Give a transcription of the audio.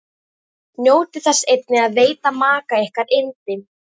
Njótið þess einnig að veita maka ykkar yndi.